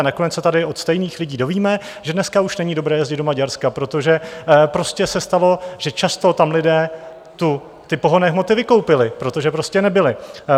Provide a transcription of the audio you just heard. A nakonec se tady od stejných lidí dozvíme, že dneska už není dobré jezdit do Maďarska, protože prostě se stalo, že často tam lidé ty pohonné hmoty vykoupili, protože prostě nebyly.